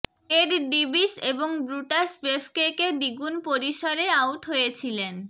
Ted ডিবিস এবং Brutus বেফকেকে দ্বিগুণ পরিসরে আউট হয়েছিলেন